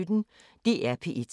DR P1